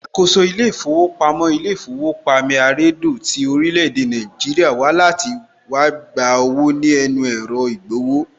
Alákòóso ilé ìfowópamọ́ ilé īfówopamí àredò tí orílẹ̀ èdè Nàìjíríà wá láti wá gba owó ní ẹnu ẹ̀rọ ìgbowó